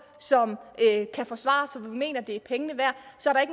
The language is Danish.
som kan forsvares så vi mener det er pengene værd så